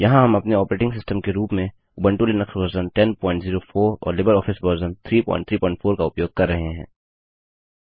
यहाँ हम अपने ऑपरेटिंग सिस्टम के रूप में उबंटु लिनक्स वर्जन 1004 और लिबरऑफिस वर्जन 334 का उपयोग कर रहे हैं